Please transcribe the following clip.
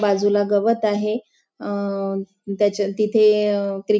बाजूला गवत आहे अ त्याच्या तिथे अ ते--